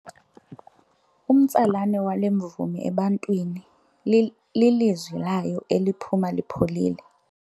Umtsalane wale mvumi ebantwini lilizwi layo eliphuma lipholile.